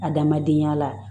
Adamadenya la